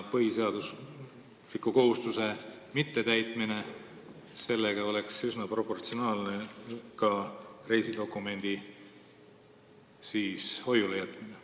Põhiseadusliku kohustuse mittetäitmisega üsna proportsionaalne oleks ka reisidokumendi hoiulejätmine.